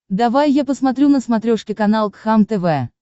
давай я посмотрю на смотрешке канал кхлм тв